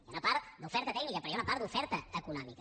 hi ha una part d’oferta tècnica però hi ha una part d’oferta econòmica